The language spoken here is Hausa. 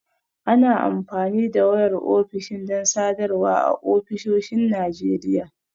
Ana amfani da wayar ofishin don sadarwa a ofisoshin Najeriya